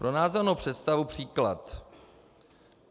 Pro názornou představu příklad.